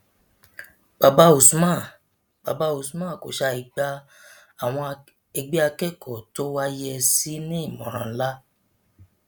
bàbá usman bàbá usman kò ṣàì gba àwọn ẹgbẹ akẹkọọ tó wàá yẹ ẹ sí nímọràn ńlá